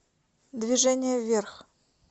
движение вверх